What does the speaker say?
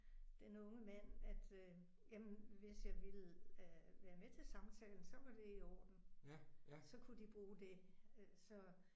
Den unge mand at øh jamen hvis jeg ville øh være med til samtalen så var det i orden. Så kunne de bruge det så